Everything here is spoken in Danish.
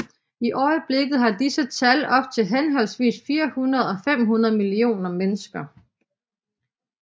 I øjeblikket er disse tal op til henholdsvis 400 og 500 millioner mennesker